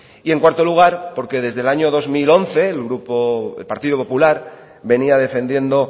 en cuarto lugar porque desde el año dos mil once el partido popular venía defendiendo